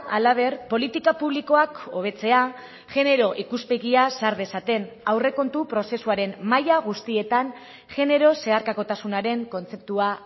halaber politika publikoak hobetzea genero ikuspegia sar dezaten aurrekontu prozesuaren maila guztietan genero zeharkakotasunaren kontzeptua